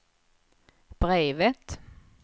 brevet